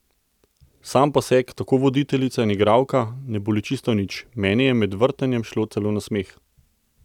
Sam poseg, tako voditeljica in igralka, ne boli čisto nič: 'Meni je med vrtanjem šlo celo na smeh ...